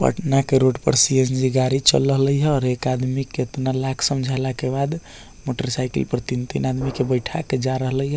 पटना के रोड पर सी.एन.जी. गाड़ी चल रहले ये और एक आदमी केतना लाख समझेला के बाद मोटर साइकिल पर तीन-तीन आदमी के बैठा के जा रहले ये।